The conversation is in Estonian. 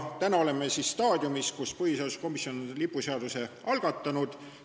Täna me oleme staadiumis, et põhiseaduskomisjon on lipuseaduse muutmise algatanud.